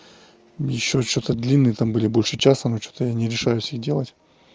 ещё что-то длинный там были больше часа но что-то я не решаюсь их делать